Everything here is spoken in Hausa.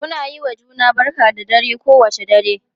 Muna yiwa juna barka da dare kowane dare.,